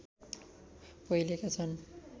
पहिलेका छन्